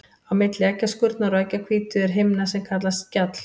Á milli eggjaskurnar og eggjahvítu er himna sem kallast skjall.